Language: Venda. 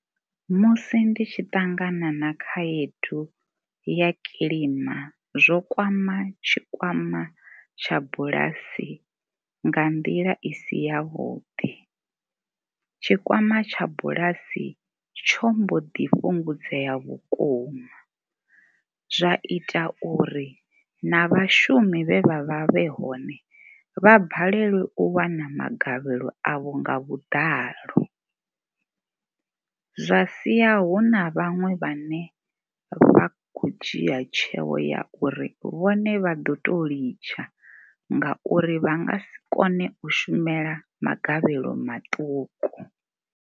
Musi ndi tshi ṱangana na khaedu ya kilima zwo kwama tshikwama tsha bulasi nga nḓila i si yavhuḓi. Tshikwama tsha bulasi tsho mbo ḓi fhungudzea vhukuma zwa ita uri na vhashumi vhe vha vha vhe hone vha balelwe u wana magavhelo avho nga vhuḓalo. Zwa sia hu na vhaṅwe vhane vha khou dzhia tsheo ya uri vhone vha ḓo tou litsha ngauri vha nga si kone u shumela magavhelo maṱuku.